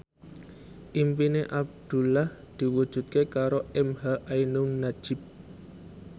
impine Abdullah diwujudke karo emha ainun nadjib